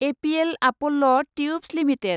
APL Apollo Tubes limited